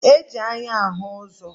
E ji anya ahụ ụzọ